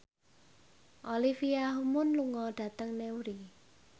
Olivia Munn lunga dhateng Newry